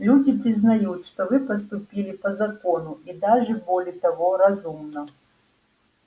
люди признают что вы поступили по закону и даже более того разумно